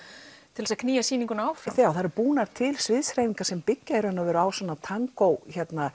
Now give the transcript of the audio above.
til þess að knýja sýninguna áfram já það eru búnar til sviðshreyfingar sem byggja á svona tangó